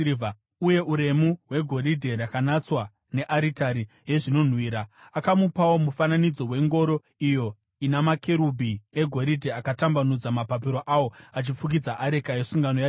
uye uremu hwegoridhe rakanatswa nearitari yezvinonhuhwira. Akamupawo mufananidzo wengoro iyo ina makerubhi egoridhe akatambanudza mapapiro awo achifukidza areka yesungano yaJehovha.